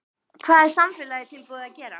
Hvað er samfélagið tilbúið til að gera?